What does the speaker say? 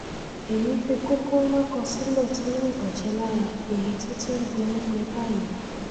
èyí fi kókó ńlá kan sílẹ tó ní ìbàjẹ lára èyí tó ti ń gbẹ ń gbẹ báyìí